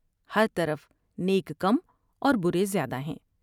ہرطرف نیک کم اور برے زیادہ ہیں ۔